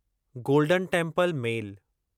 golden Temple mail